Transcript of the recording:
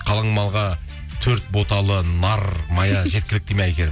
қалың малға төрт боталы нар мая жеткілікті ме әйгерім